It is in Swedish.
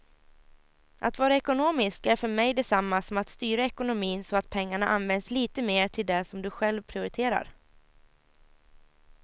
Att vara ekonomisk är för mig detsamma som att styra ekonomin så att pengarna används lite mer till det som du själv prioriterar.